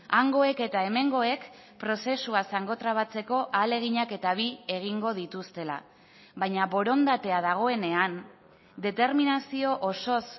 hangoek eta hemengoek prozesua zangotrabatzeko ahaleginak eta bi egingo dituztela baina borondatea dagoenean determinazio osoz